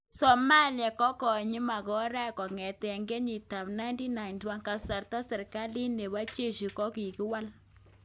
Somalia kokonyiln makoraek kongeten kyetit ap 1991 ,kasarta serkalit nepo jeshi kokikiwal